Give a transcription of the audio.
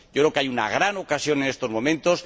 Yo creo que hay una gran ocasión en estos momentos.